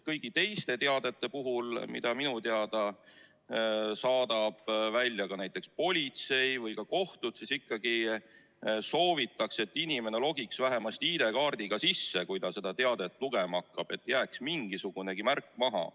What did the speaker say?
Kõigi teiste teadete puhul, mida minu teada saadavad välja näiteks politsei või kohtud, ikkagi soovitakse, et inimene logiks vähemasti ID-kaardiga sisse, kui ta seda teadet lugema hakkab, et jääks mingisugunegi märk maha.